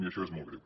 i això és molt greu